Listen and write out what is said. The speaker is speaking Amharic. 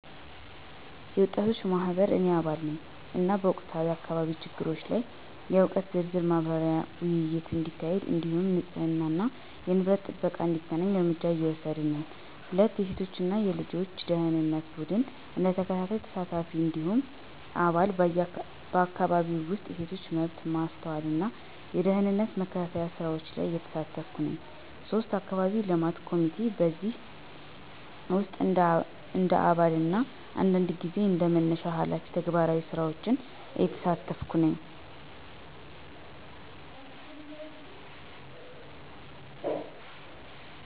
የወጣቶች ማህበር – እኔ አባል ነኝ፣ እና በወቅታዊ የአካባቢ ችግሮች ላይ የእውቀት ዝርዝር ማብራሪያና ውይይት እንዲካሄድ እንዲሁም ንፁህነትና የንብረት ጥበቃ እንዲተገናኝ እርምጃ እየወሰድን ነን። 2. የሴቶች እና ልጆች ደኅንነት ቡድን – እንደ ተከታታይ ተሳታፊ እንዲሁም አባል፣ በአካባቢው ውስጥ የሴቶች መብት ማስተዋልና የደህንነት መከታተያ ስራዎች ላይ እየተሳተፍኩ ነኝ። 3. የአካባቢ የልማት ኮሚቴ – በእነዚህ ውስጥ እንደ አባል እና አንዳንድ ጊዜ እንደ መነሻ ሃላፊ ተግባራዊ ስራዎችን እየተሳተፍኩ ነኝ።